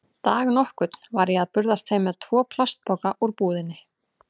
Dag nokkurn var ég að burðast heim með tvo plastpoka úr búðinni.